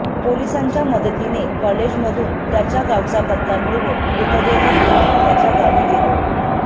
पोलिसांच्या मदतीने कॉलेजमधून त्याच्या गावचा पत्ता मिळवून मृतदेह घेऊन त्याच्या गावी गेलो